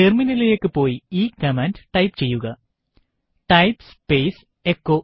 ടെർമിനലിലേക്ക് പോയി ഈ കമാൻഡ് ടൈപ്പ് ചെയ്യുക ടൈപ്പ് സ്പേസ് എച്ചോ